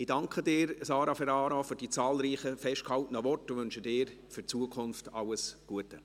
Ich danke Sara Ferraro für die zahlreichen festgehaltenen Worte und wünsche ihr für die Zukunft alles Gute.